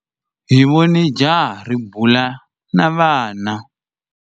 Hi vone jaha ri bula na vana.